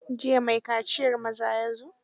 Jiya maai kaciyar maza ya zo.